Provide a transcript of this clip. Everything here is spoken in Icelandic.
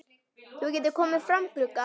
Þú getur komið fram, Gugga!